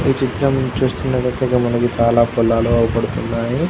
ఈ చిత్రం చూస్తున్నటైతే ఇక్కడ మనకు చాలా పొలాలు కనపడుతున్నాయి.